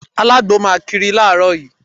Alagbo máa kiri láàárọ̀ yìí.